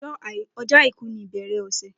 O̩jó̩ Àìkú ni ìbè̩rè̩ ò̩sè